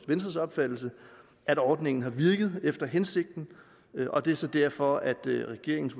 venstres opfattelse at ordningen har virket efter hensigten og det er så derfor at regeringens